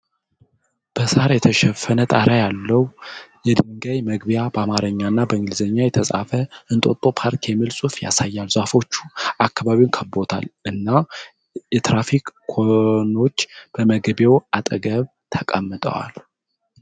በሳር የተሸፈነ ጣሪያ ያለው የድንጋይ መግቢያ በአማርኛ እና በእንግሊዝኛ የተጻፈ እንጦጦ ፓርክ የሚል ጽሁፍ ያሳያል። ዛፎች አካባቢውን ከበዉታል እና የትራፊክ ኮኖች በመግቢያው አጠገብ ተቀምጠዋል።